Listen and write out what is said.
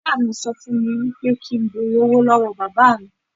Ìyá mi sọ fún mi wípé kín n bẹ̀rẹ̀ owó lọ́wọ́ Bàbà mi.